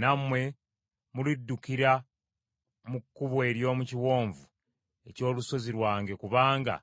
Nammwe muliddukira mu kkubo ery’omu kiwonvu eky’olusozi lwange kubanga